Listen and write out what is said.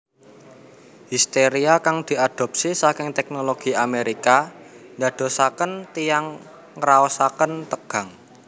Histeria kang diadopsi saking teknologi Amerika ndadosaken tiyang ngraosaken tegang